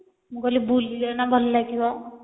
ମୁଁ କହିଲି ବୁଲିଲେ ନା ଭଲ ଲାଗିବ